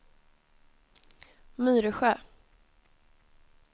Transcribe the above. Myresjö